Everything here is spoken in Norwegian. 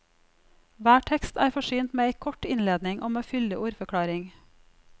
Hver tekst er forsynt med ei kort innledning og med fyldig ordforklaring.